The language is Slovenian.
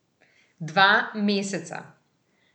Dva meseca.